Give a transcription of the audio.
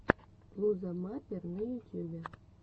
блуза маппер на ютюбе